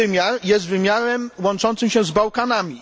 Drugi wymiar jest wymiarem łączącym się z Bałkanami.